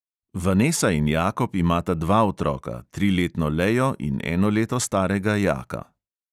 Vanesa in jakob imata dva otroka, triletno lejo in eno leto starega jaka.